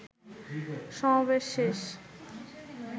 সমাবেশ শেষে